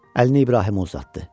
Əlini İbrahimə uzatdı.